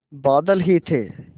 बादल ही थे